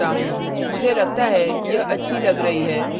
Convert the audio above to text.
मैं इसे बाद में कभी भी समायोजित कर सकता हूँ